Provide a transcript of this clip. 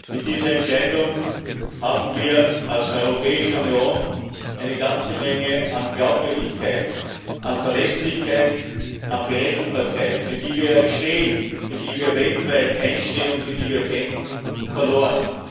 Mit dieser Entscheidung haben wir als Europäische Union eine ganze Menge an Glaubwürdigkeit, an Verlässlichkeit, an Berechenbarkeit, für die wir ja stehen, für die wir weltweit einstehen und für die wir kämpfen, verloren.